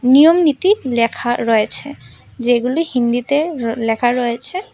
নিয়ম নীতি লেখা রয়েছে যেগুলি হিন্দিতে লেখা রয়েছে।